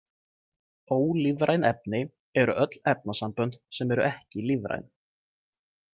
Ólífræn efni eru öll efnasambönd sem eru ekki lífræn.